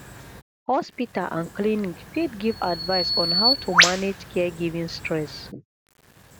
hospital and clinic fit give advice on how to manage caregiving stress